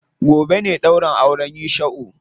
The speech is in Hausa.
Gobe ne ɗaurin auren Yusha'u.